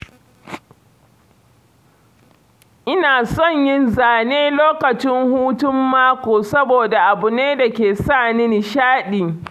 Ina son yin zane lokacin hutun mako saboda abu ne da ke sa ni nishaɗi.